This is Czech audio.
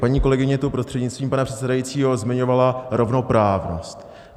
Paní kolegyně tu, prostřednictvím pana předsedajícího, zmiňovala rovnoprávnost.